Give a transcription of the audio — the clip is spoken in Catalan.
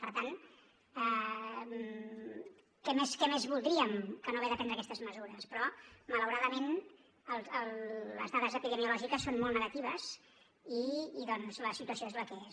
per tant què més voldríem que no haver de prendre aquestes mesures però malauradament les dades epidemiològiques són molt negatives i la situació és la que és